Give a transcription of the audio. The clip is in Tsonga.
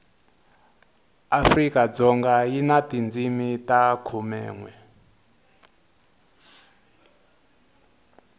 afrikadzoga yi na tindzimi ta khumenwe